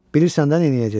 Bilirsən də neyləyəcəksən.